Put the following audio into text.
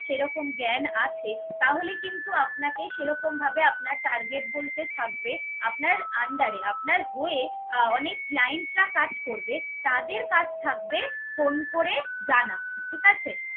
সেরকম জ্ঞান আছে, তাহলে কিন্তু আপনাকে সেরকম ভাবে আপনার target বলতে থাকবে আপনার under এ আপনার হয়ে আহ অনেক client রা কাজ করবে, তাদের কাজ থাকবে phone করে জানা, ঠিক আছে?